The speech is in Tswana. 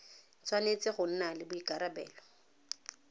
tshwanetse go nna le boikarabelo